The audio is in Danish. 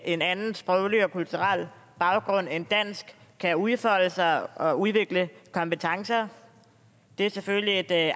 en anden sproglig og kulturel baggrund end dansk kan udfolde sig og udvikle kompetencer det er selvfølgelig et